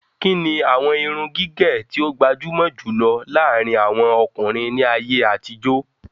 Kíni àwọn irun gígẹ̀ tí ó gbajumo jùlọ láàrin àwọn ọkùnrin ní ayé àtijó?